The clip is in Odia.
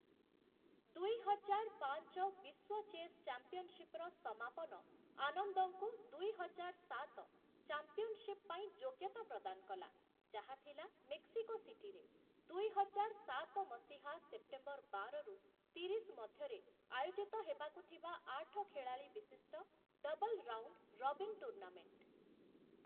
ଦୁଇ ହଜାର ପାଞ୍ଚ ବିଶ୍ୱ ଚେସ୍‌ ଚାମ୍ପିଅନଶିପ୍‌ର ସମାପନ ଆନନ୍ଦଙ୍କୁ ଦୁଇ ହଜାର ସାତ ଚାମ୍ପିଅନଶିପ୍‌ ପାଇଁ ଯୋଗ୍ୟତା ପ୍ରଦାନ କଲା, ଯାହା ଥିଲା ମେକ୍ସିକୋ ସିଟିରେ, ଦୁଇ ହଜାର ସାତ ମସିହା ସେପ୍ଟେମ୍ବର ବାର ରୁ ତିରିଶ ମଧ୍ୟରେ ଆୟୋଜିତ ହେବାକୁ ଥିବା ଆଠ ଖେଳାଳି ବିଶିଷ୍ଟ ଡବଲ୍-ରାଉଣ୍ଡ୍‌-ରବିନ୍‌ ଟୁର୍ଣ୍ଣାମେଣ୍ଟ ।